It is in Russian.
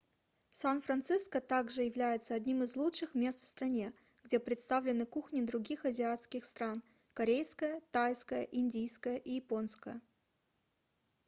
сан-франциско также является одним из лучших мест в стране где представлены кухни других азиатских стран корейская тайская индийская и японская